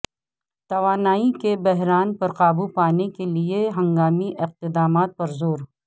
توانائی کے بحران پر قابو پانے کے لیے ہنگامی اقدامات پر زور